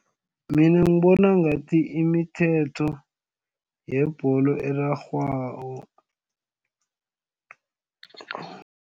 Mina ngibona ngathi imithetho yebholo erarhwako.